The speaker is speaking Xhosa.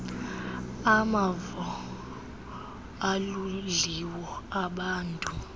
amavo aludliwo mbadu